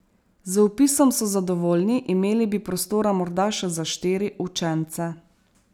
Z vpisom so zadovoljni, imeli bi prostora morda še za štiri učence.